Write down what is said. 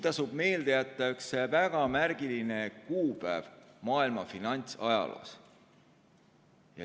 Tasub meelde jätta üks väga märgiline kuupäev maailma finantsajaloos.